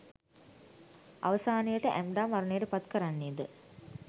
අවසානයට ඇම්ඩා මරණයට පත් කරන්නේ ද